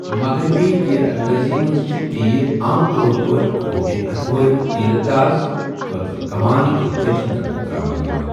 مغربی تیر اندٲزی منٛز چھِ تیر عام طور پٲٹھۍ کھوورِ اتھہٕ وٲلۍ تیر انداز خٲطرٕ کمان کہِ دٔچِھنہِ طرفہٕ تراونہٕ یِوان۔